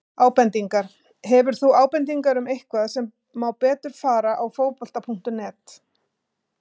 Ábendingar: Hefur þú ábendingar um eitthvað sem má betur fara á Fótbolta.net?